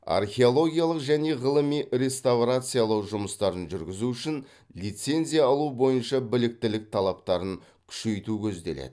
археологиялық және ғылыми реставрациялау жұмыстарын жүргізу үшін лицензия алу бойынша біліктілік талаптарын күшейту көзделеді